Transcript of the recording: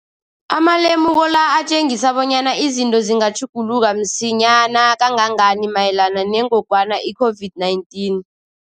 Amalemuko la atjengisa bonyana izinto zingatjhuguluka msinyana kangangani mayelana nengogwana i-COVID-19.